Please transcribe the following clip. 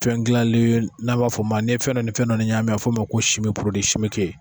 Fɛn dilalanen n'an b'a fɔ ma ni fɛn dɔ ni fɛn ɲaami a bɛ f'o ma ko